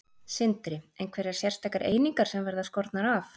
Sindri: Einhverjar sérstakar einingar sem verða skornar af?